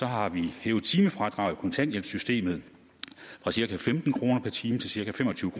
har vi hævet timefradraget i kontanthjælpssystemet fra cirka femten kroner per time til cirka fem og tyve